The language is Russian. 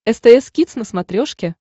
стс кидс на смотрешке